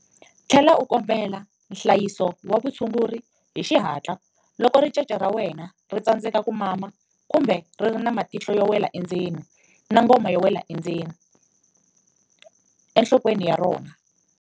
Tlhela u kombela nhlayiso wa vutshunguri hi xihatla loko ricece ra wena ri tsandzeka ku mama kumbe ri ri na matihlo yo wela endzeni na ngoma yo wela endzeni enhlokweni ya rona.